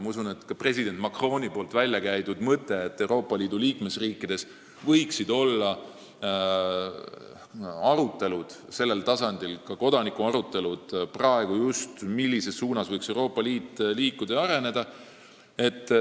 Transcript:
Ma usun, et president Macroni väljakäidud mõte, et Euroopa Liidu liikmesriikides võiksid olla arutelud selle üle, sh kodanike tasemel, on just see suund, kuhu võiks Euroopa Liit praegu liikuda ja areneda.